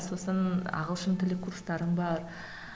сосын ағылшын тілі курстарың бар